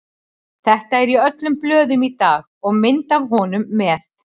Þetta er í öllum blöðum í dag og mynd af honum með.